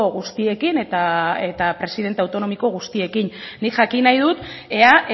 guztiekin eta presidente autonomiko guztiekin nik jakin nahi dut ea